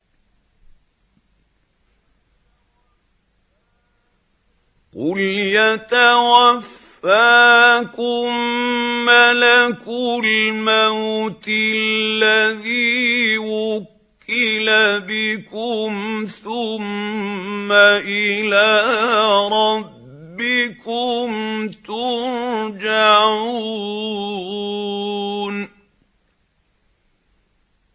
۞ قُلْ يَتَوَفَّاكُم مَّلَكُ الْمَوْتِ الَّذِي وُكِّلَ بِكُمْ ثُمَّ إِلَىٰ رَبِّكُمْ تُرْجَعُونَ